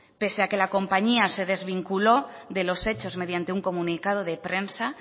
pese a que la compañía se desvinculó de los hechos mediante un comunicado de prensa